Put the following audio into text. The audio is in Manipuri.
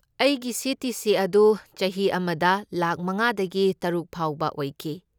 ꯑꯩꯒꯤ ꯁꯤ.ꯇꯤ.ꯁꯤ. ꯑꯗꯨ ꯆꯍꯤ ꯑꯃꯗ ꯂꯥꯈ ꯃꯉꯥꯗꯒꯤ ꯇꯔꯨꯛ ꯐꯥꯎꯕ ꯑꯣꯏꯈꯤ꯫